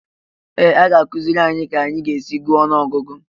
Ee! A ga-akụziri anyị ka anyị ga-esi gụọ ọnụọgụgụ